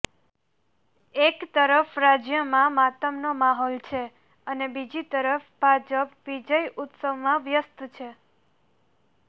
એક તરફ રાજયમા માતમનો માહોલ છે અને બીજી તરફ ભાજપ વિજય ઉત્સવમાં વ્યસ્ત છે